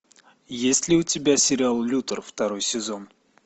есть ли у тебя сериал лютер второй сезон